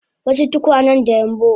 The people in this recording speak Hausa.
wasu tukwanen da yambu